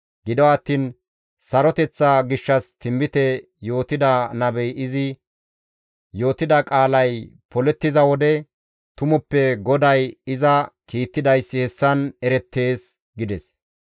Gido attiin saroteththa gishshas tinbite yootida nabey izi yootida qaalay polettiza wode tumappe GODAY iza kiittidayssi hessan erettees» gides.